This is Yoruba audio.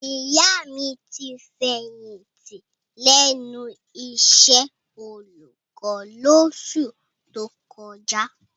Ìyá mi ti fẹ̀yìntì lẹ́nu iṣẹ́ olùkọ́ lóṣù tó kọjá.